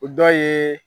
O dɔ ye